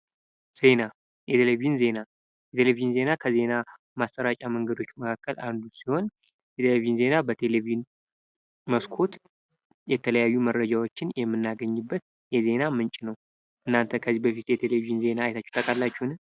ዜና የቴሌቭዥን ዜና የቴሌቭዥን ዜና ከዜና ማሰራጫ መንገዶች አንዱ ሲሆን፤ የቴሌቭዥን ዜና በቴሌቭዥን መስኮት የተለያዩ መረጃዎችን የምናገኘበት የዜና ምንጭ ነው። እናንተ ከዚህ በፊት የቴሌቭዢን ዜና አይታችሁ ታውቃላችሁ?